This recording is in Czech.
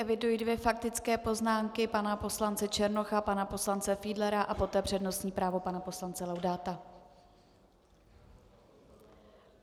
Eviduji dvě faktické poznámky, pana poslance Černocha, pana poslance Fiedlera a poté přednostní právo pana poslance Laudáta.